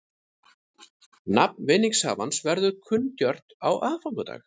Nafn vinningshafans verður kunngjört á aðfangadag